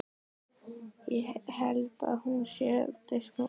Ég held að hún sé á diskótekinu.